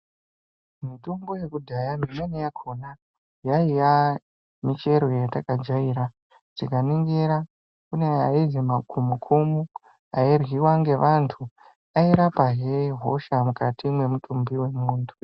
Mitombo yekudhaya imweni yakhona, yaiya michero yatakajaira .Tikaningira kune aizi makhumukhumu, airyiwa ngevantu, airapahe hosha mukati mwemutumbi wemuntu.